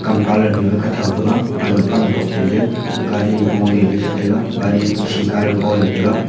kam colour nue kathou thega man ma kamtok te je gari goleley chetaiga gari khi ka goley taiga.